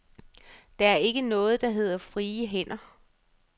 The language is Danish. Der er ikke noget, der hedder frie hænder.